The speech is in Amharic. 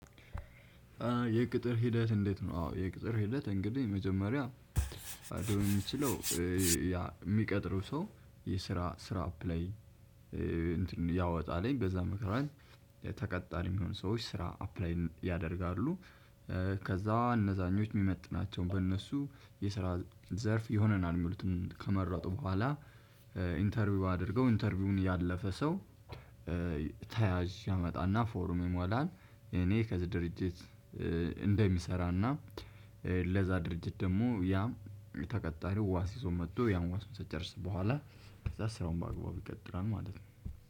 የቅጥር ሂደት እንዴት ነው? አዎ የቅጥር ሂደት እንግዲህ መጀመሪያ፣ ሊያገባው የሚችለው የሚቀጥረው ሰው የስራ ስራ አፕላይ እንትን ያወጣል በዛ ምክንያት ተቀጣሪ የሚሆኑ ሰዎች ስራ አፕላይ ያደርጋሉ። ከዛ እነዛኞች የሚመጥናቸውን በእነሱ የስራ ዘርፍ ይሆነናል የሚሉትን ከመረጡ በኋላ ኢንተርቪው አድርገው ኢንተርቪውን ያለፈ ሰው፣ ተያዥ ያመጣና ፎርም ይሞላል፤ እኔ ከዚህ ድርጅት እንደሚሰራና ለዛ ድርጅት ደግሞ ያም ተቀጣሪው ዋስ ይዞ መጥቶ ያን ፕሮሰስ ከጨረሰ በኋላ፣ ከዛ ስራውን በአግባቡ ይቀጥላል ማለት ነው።